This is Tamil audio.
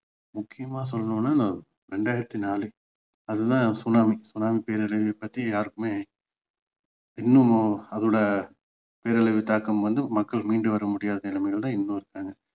முக்கியமா சொல்லணும்னா இரண்டாயிரத்தி நாலு அது தான் சுனாமி சுனாமி பேரழிவை பற்றி யாருக்குமே இன்னும் அதோட பேரழிவு தாக்கம் வந்து மக்கள் மீண்டு வர முடியாத நிலமையில தான் இன்னும் இருக்காங்க